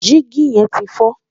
Dígì yẹn ti fọ́.